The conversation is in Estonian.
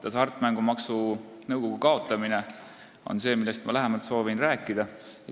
Ma soovin lähemalt rääkida hasartmängumaksu nõukogu kaotamisest.